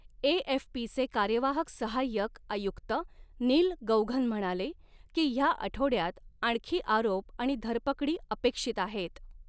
एएफपीचे कार्यवाहक सहाय्यक आयुक्त नील गौघन म्हणाले, की ह्या आठवड्यात आणखी आरोप आणि धरपकडी अपेक्षित आहेत.